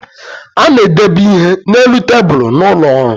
A na-edebe ihe na-elu tabulu n’ụlọọrụ